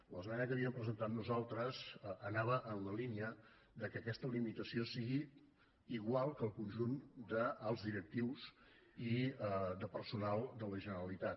l’esmena que havíem presentat nosaltres anava en la línia que aquesta limitació fos igual que per al conjunt dels directius i de personal de la generalitat